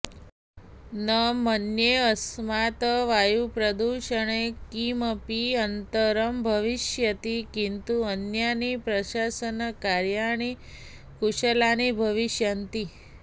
न मन्ये अस्मात् वायुप्रदूषणे किमपि अन्तरं भविष्यति किन्तु अन्यानि प्रसाशनकार्याणि कुशलानि भविष्यन्ति